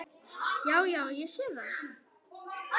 Já, já. ég sé það.